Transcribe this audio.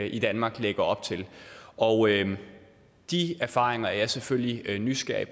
i danmark lægger op til og de erfaringer er jeg selvfølgelig nysgerrig